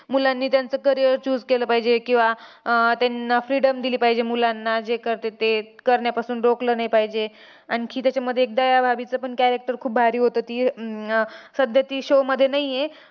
मुलांनी त्यांचं career choose केलं पाहिजे, किंवा आह त्यांना freedom दिली पाहिजे मुलांना, जे करतात ते करण्यापासून रोखलं नाही पाहिजे. आणखी त्याच्यामध्ये एक दयाभाभीचं पण character खूप भारी होतं. ती अं सध्या ती show मध्ये नाही आहे.